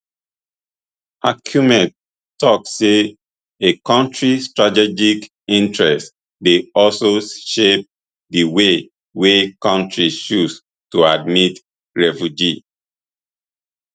achiume tok say a kontri strategic interests dey also shape di way way kontris choose to admit refugees